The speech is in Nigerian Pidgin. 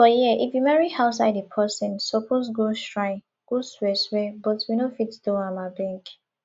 for here if you marry outside the person suppose go shrine go swear swear but we no fit do am abeg